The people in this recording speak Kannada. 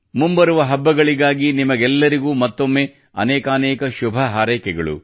ಮುಂಬರುವ ಹಬ್ಬಗಳಿಗಾಗಿ ನಿಮ್ಮೆಲ್ಲರಿಗೂ ಮತ್ತೊಮ್ಮೆ ಅನೇಕಾನೇಕ ಶುಭ ಹಾರೈಕೆಗಳು